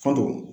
Fa don